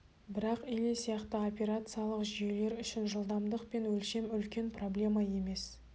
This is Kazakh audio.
бірақ или сияқты операциялық жүйелер үшін жылдамдық пен өлшем үлкен проблема емес